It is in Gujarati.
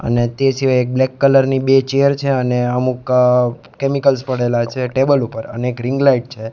અને તે સિવાય એક બ્લેક કલર ની બે ચેર છે અને અમુક કેમિકલ્સ પડેલા છે ટેબલ ઉપર અને ગ્રીન લાઇટ છે.